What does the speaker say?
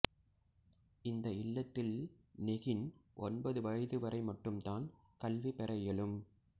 இந்த இல்லத்தில் நெகின் ஒன்பது வயது வரை மட்டும் தான் கல்வி பெற இயலும்